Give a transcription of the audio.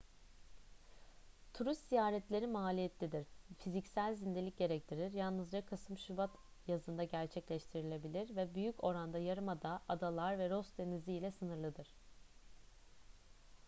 turist ziyaretleri maliyetlidir fiziksel zindelik gerektirir yalnızca kasım-şubat yazında gerçekleştirilebilir ve büyük oranda yarımada adalar ve ross denizi ile sınırlıdır